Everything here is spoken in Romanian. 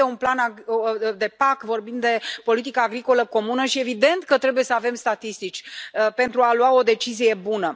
Vorbim de PAC, vorbim de politica agricolă comună și este evident că trebuie să avem statistici, pentru a lua o decizie bună.